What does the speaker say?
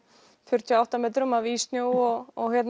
fjörutíu og átta metrum af ís snjó og og